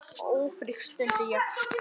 Ófrísk? stundi ég.